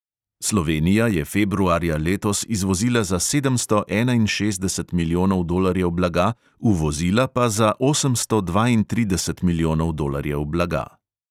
Slovenija je februarja letos izvozila za sedemsto enainšestdeset milijonov dolarjev blaga, uvozila pa za osemsto dvaintrideset milijonov dolarjev blaga.